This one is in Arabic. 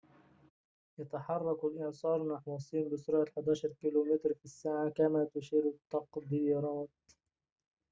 يتحرك الإعصار نحو الصين بسرعة 11 كم/ساعة، كما تشير التقديرات